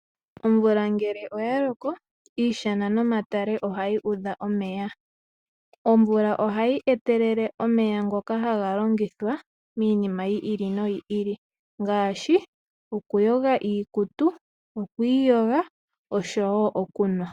Omvula ngele oya loko iishana nomatale ohayi udha omeya, omeya ohayi etelela omeya haga longithwa iinima yi ili noyi ili ngaashi okuyoga iikutu, okwiiyoga oshowo okunwa.